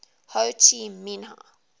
ho chi minh